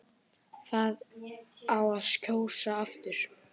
Það á að kjósa aftur